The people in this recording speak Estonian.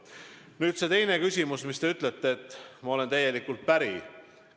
Nüüd see teine küsimus – ma olen sellega, mida te ütlete, täielikult päri.